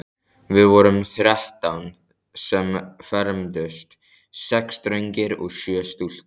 Við vorum þrettán sem fermdumst, sex drengir og sjö stúlkur.